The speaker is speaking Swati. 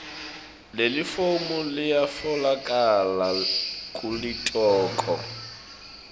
lelifomu liyatfolakala kulitiko